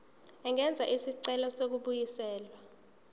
angenza isicelo sokubuyiselwa